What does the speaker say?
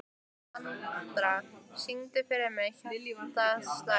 Andra, syngdu fyrir mig „Hjartað slær“.